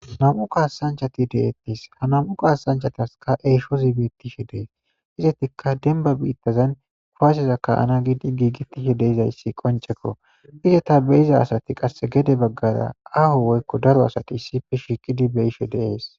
Nam'u kasanchati de'etesi, ha nam'u kasanchatasaka eeshozi betishe Desi. Izetika demba bitazan kuwaseza ka'ana giidi giigetishe dizaysi qoncekko. Izeta beyiza sati qase gede bagara aaho woyko daro asati issippe shiiqid be'ishe de'esi.